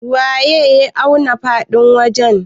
waye ya auna faɗin wajen?